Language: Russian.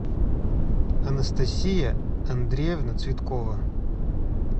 анастасия андреевна цветкова